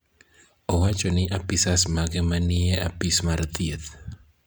Owacho ni apisas mage ma ni e apis mar thieth